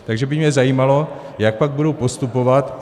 Takže by mě zajímalo, jak pak budou postupovat.